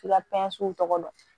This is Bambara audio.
F'i ka pɛnsiw tɔgɔ dɔn